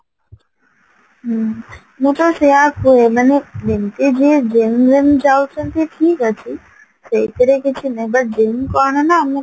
ହ୍ମ ମୁଁ ତ ସେଇଆ କୁହେ ମାନେ ଯେମତି ଯିଏ genuine ଯାଉଚନ୍ତି ଠିକ ଅଛି ସେଇଥିରେ କିଛି ନହିଁ but genuine କଣ ନା ଆମକୁ